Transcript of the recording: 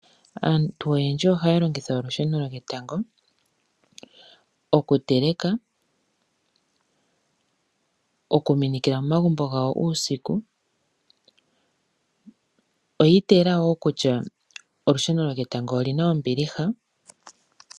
Aantu oyendji ohaya longitha olusheno lyo ketango okuteleka, okuminikila momagumbo gawo uusiku. Oyi ita yela wo kutya olusheno lyo ketango oli na ombiliha.